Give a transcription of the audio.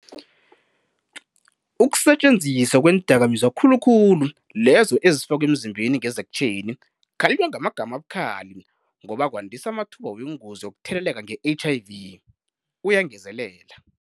"Ukusetjenziswa kweendakamizwa khulukhulu lezo ezifakwa emzimbeni ngezekhtjheni - kukhalinywa ngamagama abukhali ngoba kwandisa amathuba wengozi yokutheleleka nge-HIV," uyangezelela.